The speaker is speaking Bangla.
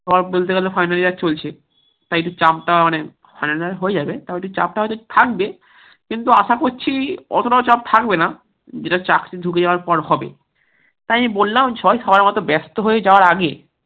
সব বলতে গেলে final year চলছে তাই চাপটা অনেক final year হয়ে যাবে তাও চাপটা হয়তো থাকবে কিন্তু আসা করেছি অতোটা ও চাপ থাকবে না যেটা চাকরি ঢুকে যাওয়ার পর হবে তাই আমি বললাম সবাই সবার মত ব্যাস্ত হয়ে যাওয়ার আগে